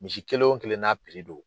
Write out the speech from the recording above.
Misi kelen wo kelen n'a don.